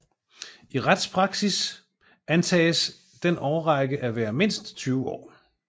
I retspraksis antages den årrække at være mindst 20 år